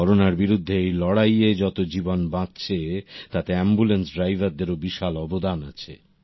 করোনার বিরুদ্ধে এই লড়াইয়ে যতো জীবন বাঁচছে তাতে অ্যম্বুলেন্স ড্রাইভার দের ও বিশাল বড় অবদান আছে